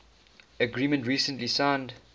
agreement recently signed